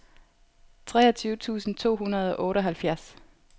treogtyve tusind to hundrede og otteoghalvfjerds